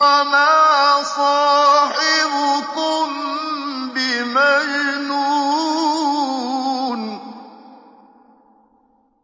وَمَا صَاحِبُكُم بِمَجْنُونٍ